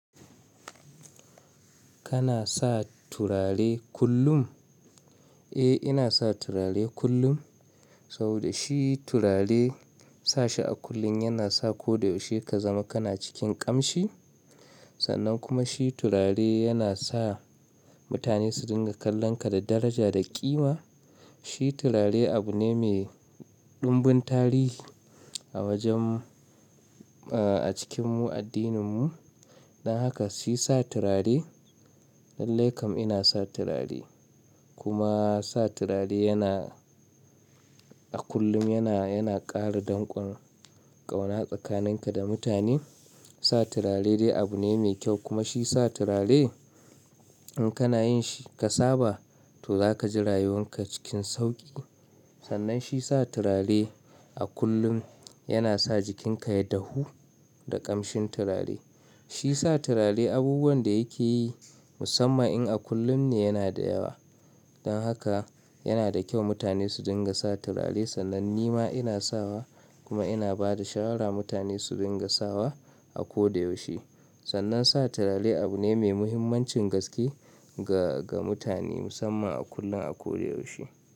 Kana sa turare kullum? Eh, ina sa turare kullum, saboda shi turare sa shi a kullun yana sa ko da yaushe ka zama kana cikin ƙamshi. Sannan kuma shi turare yana sa mutane su dinga kallonka da daraja da ƙima. Shi turare abu ne mai dumbin tarihi a wajen, eh, a cikinmu addininmu. Dan haka shi sa turare, lallai kam ina sa turare. Shi turare abu ne mai dumbin tarihi Sa turare dai abu ne mai kyau, kuma shi sa turare in kana yin shi ka saba to za ka ji rayuwan ka cikin sauƙi. Sannan shi sa turare a kullum yana sa jikinka ya dahu da ƙamshin turare. Shi sa turare abubuwan da yake yi musamman in a kullum ne yana da yawa. Dan haka yana da kyau mutane su dinga sa turare, sannan ni ma ina sawa kuma ina ba da shawarar mutane su dinga sawa a ko da yaushe. Sannan sa turare abu ne mai muhimmancin gaske ga, ga mutane musamman a kullum, a ko da yaushe.